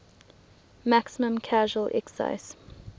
maximum casual excise